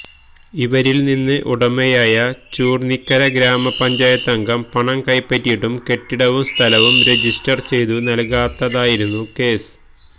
ഇവരില്നിന്ന് ഉടമയായ ചുര്ന്നിക്കര ഗ്രാമ പഞ്ചായത്തംഗം പണം കൈപ്പറ്റിയിട്ടും കെട്ടിടവും സ്ഥലവും രജിസ്റ്റര് ചെയ്തു നല്കാത്തതായിരുന്നു കേസ്